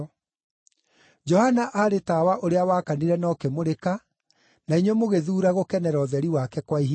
Johana aarĩ tawa ũrĩa wakanire na ũkĩmũrĩka, na inyuĩ mũgĩthuura gũkenera ũtheri wake kwa ihinda.